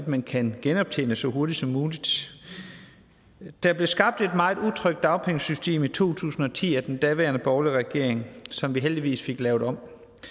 man kan genoptjene så hurtigt som muligt der blev skabt et meget utrygt dagpengesystem i to tusind og ti af den daværende borgerlige regering som vi heldigvis fik lavet om